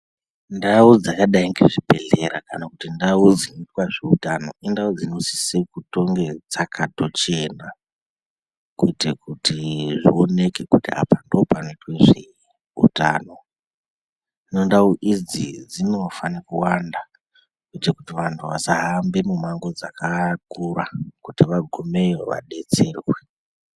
Ndau dzakadai ngezvi bhedhleya kana kuti ndau dzinoitwa zveutano dzinosisa kutonge dzakato chena kuti paonekwe kuti apa ndopanoitwa zveutano ndau idzi dzinofane kuwanda kuti anhu asahamba mumango dzakakura kuti vagumeyo vadetserwe.